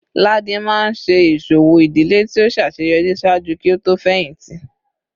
Ladi maa n ṣe iṣowo idile ti o ṣaṣeyọri ṣaaju ki o to fẹhinti